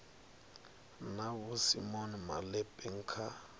na vho simon malepeng kha